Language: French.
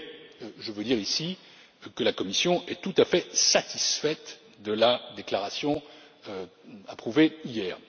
Mais je veux dire ici que la Commission est tout à fait satisfaite de la déclaration approuvée hier.